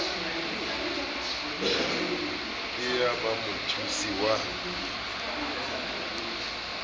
ke ya ba mothusi wa